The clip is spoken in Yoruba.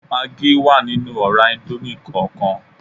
Magí wà nínú ọ̀rá íńdómì kọọkan